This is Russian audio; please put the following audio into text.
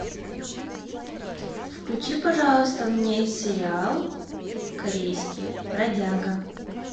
включи пожалуйста мне сериал корейский бродяга